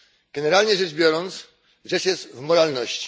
Generalnie rzecz biorąc, rzecz jest w moralności.